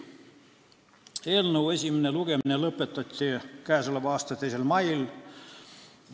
Eelnõu esimene lugemine lõpetati k.a 2. mail.